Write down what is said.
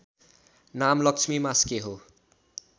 नाम लक्ष्मी मास्के हो